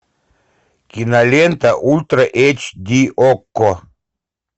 кинолента ультра эйч ди окко